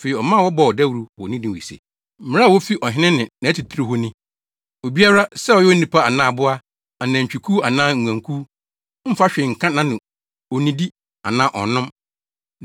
Afei, ɔma wɔbɔɔ dawuru wɔ Ninewe se, “Mmara a wofi ɔhene ne nʼatitiriw hɔ ni: “Obiara, sɛ ɔyɛ onipa anaa aboa, anantwikuw anaa nguankuw, mmfa hwee nka nʼano; onnnidi anaa ɔnnom.